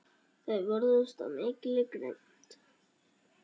Þeir vörðust af mikilli grimmd.